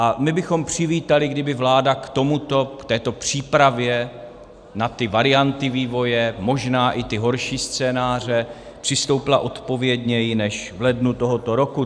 A my bychom přivítali, kdyby vláda k tomuto, k této přípravě na ty varianty vývoje, možná i ty horší scénáře, přistoupila odpovědněji než v lednu tohoto roku.